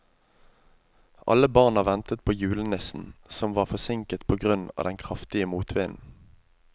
Alle barna ventet på julenissen, som var forsinket på grunn av den kraftige motvinden.